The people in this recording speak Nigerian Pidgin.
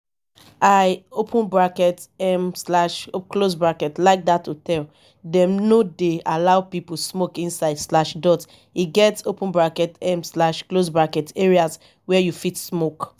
i um like dat hotel dem no dey allow people smoke inside. e get um areas where you fit smoke